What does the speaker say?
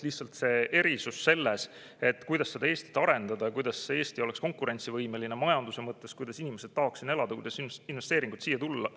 Lihtsalt erisus on selles, kuidas seda Eestit arendada, kuidas Eesti oleks konkurentsivõimeline majanduse mõttes, kuidas inimesed tahaks siin elada, kuidas investeeringuid siia tuua.